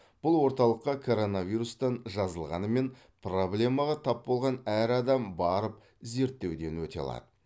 бұл орталыққа коронавирустан жазылғанымен проблемаға тап болған әр адам барып зерттеуден өте алады